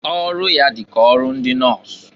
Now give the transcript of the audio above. Ọrụ ya dị ka ọrụ ndị nọs.